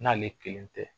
N'ale kelen tɛ